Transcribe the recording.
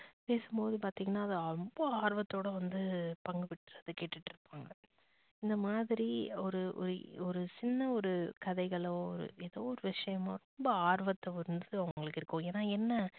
பேசும்போது பாத்திங்கனா அத ரொம்ப ஆர்வத்தோட வந்து பங்கு பெற்று அதை கேட்டுட்டு இருபாங்க. இந்த மாதிரி ஒரு ஒரு ஒரு சின்ன ஒரு கதைகளோ ஒரு ஏதோ ஒரு விஷயமோ ரொம்ப ஆர்வத்து வந்துட்டு அவங்களுக்கு இருக்கும். என்னா என்ன